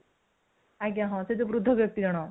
ଆଜ୍ଞା ହଁ ସେ ଜଉ ବୃଦ୍ଧ ବ୍ୟକ୍ତି ଜଣକ